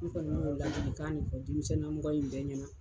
N kɔni b'o ladilikan de fɔ denmisɛnnin namɔgɔ in bɛɛ ɲɛna.